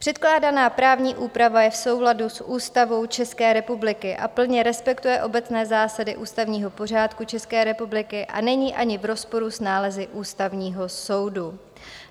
Předkládaná právní úprava je v souladu s Ústavou České republiky a plně respektuje obecné zásady ústavního pořádku České republiky a není ani v rozporu s nálezy Ústavního soudu.